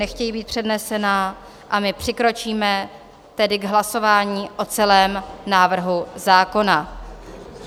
Nechtějí být přednesena, a my přikročíme tedy k hlasování o celém návrhu zákona.